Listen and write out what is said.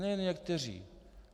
Ne, jen někteří.